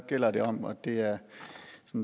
gælder det om og det er